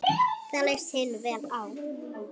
Það leist hinum vel á.